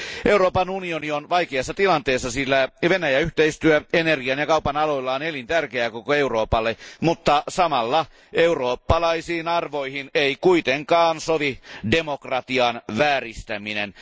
Euroopan unioni on vaikeassa tilanteessa, sillä Venäjä yhteistyö energian ja kaupan aloilla on elintärkeää koko Euroopalle, mutta samalla eurooppalaisiin arvoihin ei kuitenkaan sovi demokratian vääristäminen.